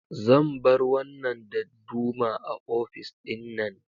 Zan bar wannan dadduma a ofis ɗin nan.